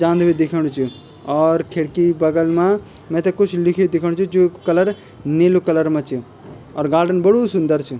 जांदू बि दिखेणु च और खिड़की बगल मा मैते कुछ लिखी बि दिखेणु च जूक कलर नीलू कलर मा च और गार्डन बडू सुंदर च।